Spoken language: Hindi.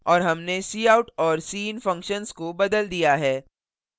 और हमने cout और cin function को बदल दिया है